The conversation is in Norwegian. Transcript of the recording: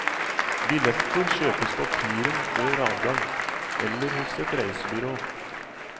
Billetter kjøpes på piren før avgang, eller hos et reisebyrå.